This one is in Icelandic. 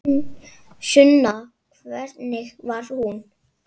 Sunna: Hvernig var hún?